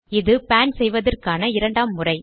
இது பான் செய்வதற்கான இரண்டாம் முறை